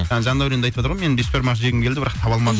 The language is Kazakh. жандәуренде айтып жатыр ғой мен бешбармақ жегім келді бірақ таба алмадым